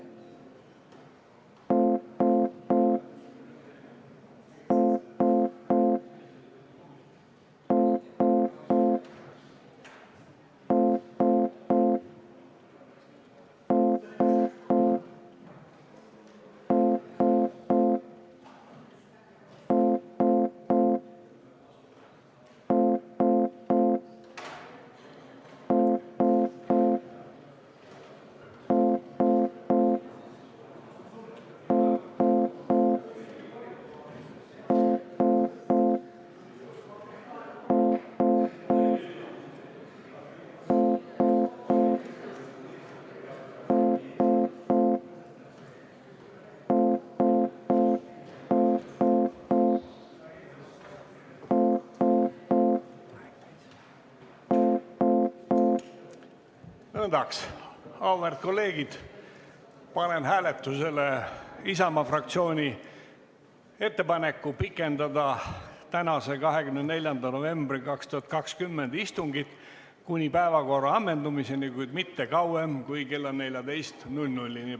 Nõndaks, auväärt kolleegid, panen hääletusele Isamaa fraktsiooni ettepaneku pikendada tänast, 24. novembri 2020 istungit kuni päevakorra ammendumiseni, kuid mitte kauem kui kella 14-ni.